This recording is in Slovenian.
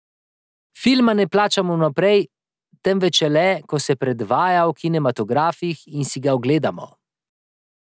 Filma ne plačamo vnaprej, temveč šele, ko se predvaja v kinematografih in si ga ogledamo.